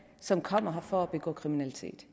som kommer her for at begå kriminalitet